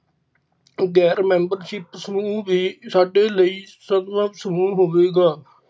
ਤੇ ਗੈਰ membership ਸਮੂਹ ਵੀ ਸਾਡੇ ਲਈ ਸਦਬੱਬ ਸਮੂਹ ਹੋਵੇਗਾ